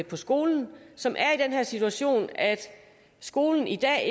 på skolen som er i den her situation at skolen i dag